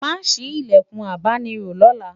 má sí ilẹkùn abáni rò lọla